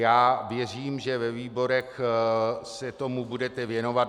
Já věřím, že ve výborech se tomu budete věnovat.